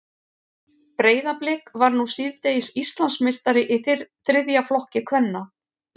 Breiðablik varð nú síðdegis Íslandsmeistari í þriðja flokki kvenna.